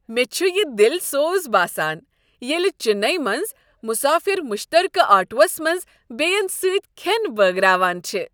مےٚ چھ یہ دِل سوز باسان ییٚلہ چنئی منز مسافر مشترکہٕ آٹوس منز بیٚین سۭتۍ کھین بٲگراوان چھ۔